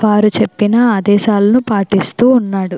వారు చెప్పిన ఆదేశాన్ని పాటిస్తూ ఉన్నాడు.